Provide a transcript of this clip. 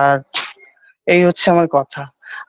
আর এই হচ্ছে আমার কথা